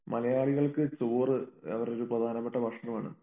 മലയാളികൾക്ക് ചോറ് അവരുടെ ഒരു പ്രധാനപ്പെട്ട ഭക്ഷണമാണ്